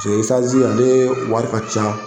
ale wari ca.